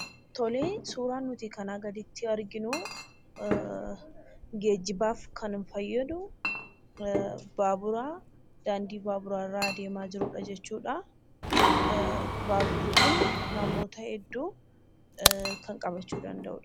Suuraan nuti kanaa gaditti arganuu, geejibaaf kan fayyadu baabura daandii baabura irra deemaa jirudha jechuudha. Baaburri Kun namoota hedduu kan qabachuu danda'u dha.